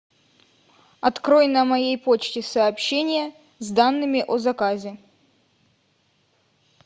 открой на моей почте сообщение с данными о заказе